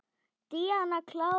Díana klára.